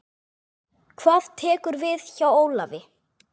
Hvað tekur við hjá Ólafi?